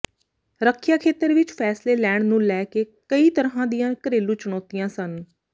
ਰੱਖਿਆ ਖੇਤਰ ਵਿਚ ਫ਼ੈਸਲੇ ਲੈਣ ਨੂੰ ਲੈ ਕੇ ਕਈ ਤਰ੍ਹਾਂ ਦੀਆਂ ਘਰੇਲੂ ਚੁਣੌਤੀਆਂ ਸਨ